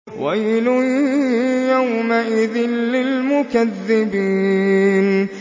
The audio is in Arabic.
وَيْلٌ يَوْمَئِذٍ لِّلْمُكَذِّبِينَ